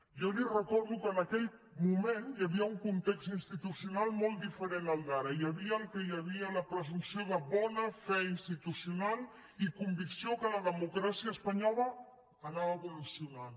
jo li recordo que en aquell moment hi havia un context institucional molt diferent al d’ara hi havia el que hi havia la presumpció de bona fe institucional i convicció que la democràcia espanyola anava evolucionant